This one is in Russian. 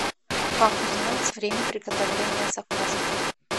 как узнать время приготовления заказа